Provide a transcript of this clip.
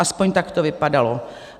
Aspoň tak to vypadalo.